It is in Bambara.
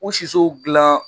U siso dilan